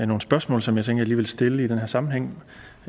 nogle spørgsmål som jeg som jeg lige vil stille i den her sammenhæng